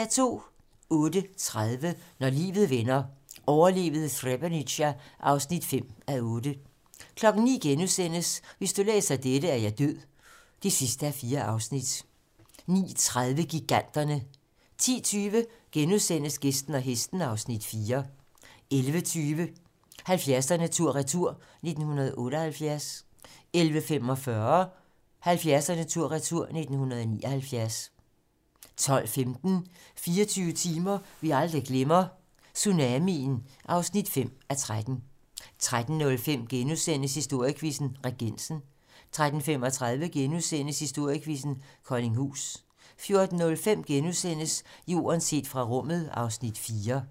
08:30: Når livet vender - overlevede Srebrenica (5:8) 09:00: Hvis du læser dette, er jeg død (4:4)* 09:30: Giganterne 10:20: Gæsten og hesten (Afs. 4)* 11:20: 70'erne tur-retur: 1978 11:45: 70'erne tur-retur: 1979 12:15: 24 timer, vi aldrig glemmer - Tsunamien (5:13) 13:05: Historiequizzen: Regensen * 13:35: Historiequizzen: Koldinghus * 14:05: Jorden set fra rummet (Afs. 4)*